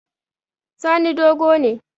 Sani dogo ne